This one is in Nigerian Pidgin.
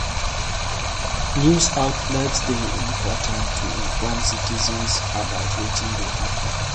News outlets dey important to inform citizens about wetin dey happen.